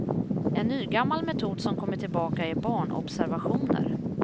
En nygammal metod som kommit tillbaka är barnobservationer.